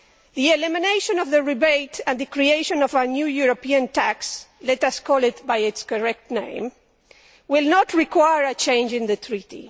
The elimination of the rebate and the creation of a new European tax let us call it by its correct name will not require a change in the treaty.